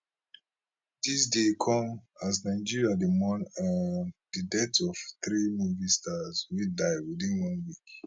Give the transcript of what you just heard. dis dey come as nigeria dey mourn um di death of three movie stars wey die within one week